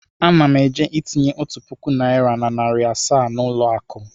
Ana m eje itinye otu puku naịra na narị asaa na ụlọ akụ.